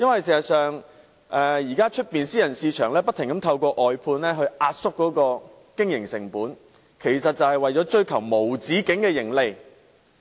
事實上，現時私人市場不停透過外判來壓縮經營成本，是為了追求無止境的盈利。